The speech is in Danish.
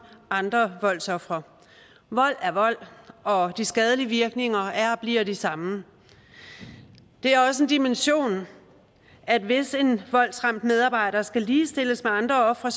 andre voldsofre vold er vold og de skadelige virkninger er og bliver de samme det er også en dimension at hvis en voldsramt medarbejder skal ligestilles med andre ofre